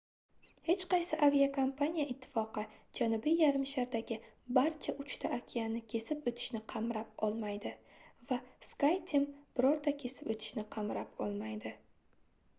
hech qaysi aviakompaniya ittifoqi janubiy yarimshardagi barcha uchta okeanni kesib o'tishni qamrab olmaydi va skyteam birorta kesib o'tishni qamrab olmaydi